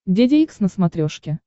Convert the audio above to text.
деде икс на смотрешке